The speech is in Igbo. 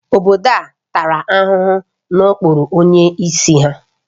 Obodo a tara ahụhụ n'okpuru onyeisi ha